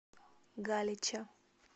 галича